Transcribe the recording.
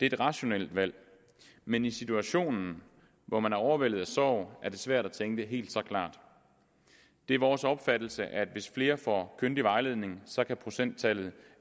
et rationelt valg men i situationen hvor man er overvældet af sorg er det svært at tænke helt så klart det er vores opfattelse at hvis flere får kyndig vejledning så kan procenttallet